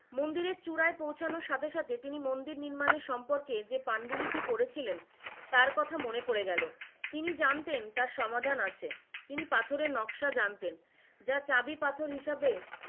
মন্দিরের চূড়ায় পৌঁছানোর সাথে সাথে তিনি মন্দির নির্মাণের সম্পর্কে যে পাণ্ডু লিপি পড়েছিলেন তার কথা মনে পরে গেল, তিনি জানতেন তার সমাধান আছে, তিনি পাথরের নকশা জানতেন, যা চাবি পাথর হিসাবে,